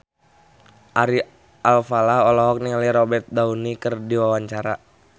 Ari Alfalah olohok ningali Robert Downey keur diwawancara